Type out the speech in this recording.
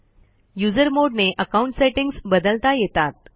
usermod ने account settings बदलता येतात